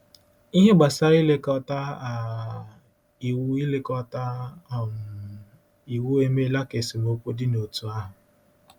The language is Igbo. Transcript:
Ihe gbasara ilekọta um Iwu ilekọta um Iwu emeela ka esemokwu dị n’òtù ahụ.